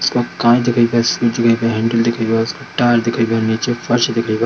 Tyre दिखे बा नीचे फर्श दिखे बा।